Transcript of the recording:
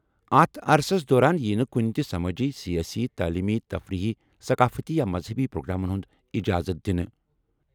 اتھ عرصس دوران ییہٕ نہٕ کُنہٕ تہٕ سمٲجی، سیٲسی، تعلیمی، تفریح، ثقافتی یا مذہبی پروگرامن ہنٛز اجازت دِنہٕ ۔